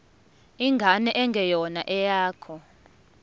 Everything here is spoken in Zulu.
ingane engeyona eyakho